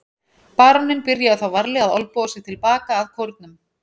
Baróninn byrjaði þá varlega að olnboga sig til baka að kórnum.